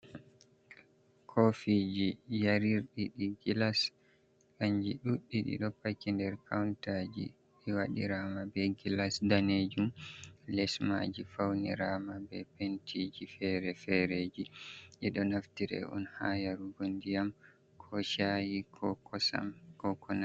Kofi ji yarirɗi ɗi gilas kanji ɗubi ɗiɗo paki nɗer kauntaji ɓiwaɗirama ɓe gilas danejum les maji faunirama ɓe pentiji fere-fereji, ɗe ɗo naftira on ha yarugo ndiyam, ko shay, i ko kosam ko konai.